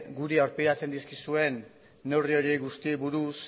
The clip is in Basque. guri aurpegiratzen dizkiguzuen neurri horiei guztiei buruz